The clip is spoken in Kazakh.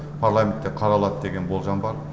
парламентте қаралады деген болжам бар